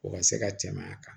O ka se ka tɛmɛ a kan